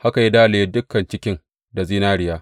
Haka ya dalaye dukan cikin da zinariya.